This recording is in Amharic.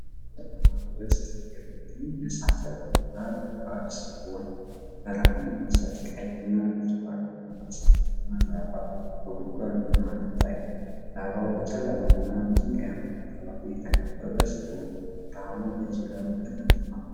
በጨለማ ውስጥ የሚገኝ የእሳተ ገሞራ ጉድጓድ ሲሆን፤ ብርሃን የሚሰጥ ቀይ እና ብርቱካናማ እሳታማ ላቫ በጉድጓዱ መሃል ይታያል። ላቫው በጨለማና በድንጋያማ አካባቢ የተከበበ ሲሆን፤ ብርሃኑን በዙሪያው ይበትነዋል።